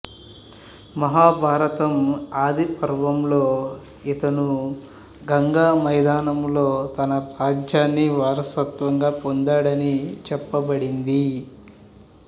మహాభారతం ఆది పర్వంలో ఇతను గంగా మైదానంలో తన రాజ్యాన్ని వారసత్వంగా పొందాడని చెప్పబడింది